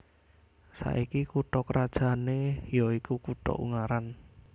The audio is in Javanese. Saiki kutha krajané ya iku kutha Ungaran